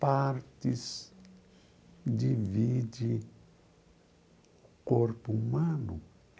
partes divide corpo humano.